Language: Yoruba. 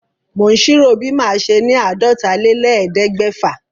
Mò ń ṣírò bí màá ṣe ni àádọ́tálélẹ́ẹ̀ẹ́dẹ́gbẹ́fà.